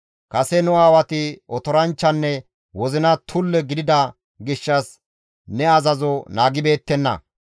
«Kase nu aawati otoranchchanne wozina muume gidida gishshas ne azazo naagibeettenna;